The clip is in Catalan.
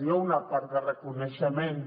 hi ha una part de reconeixement